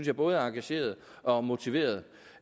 er både engagerede og motiverede